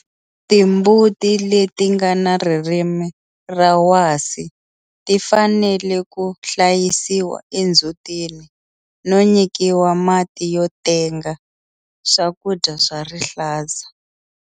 Timbuti leti nga na ririmi ra wasi ti fanele ku hlayisiwa endzhutini no nyikiwa mati yo tenga swakudya swa rihlaza.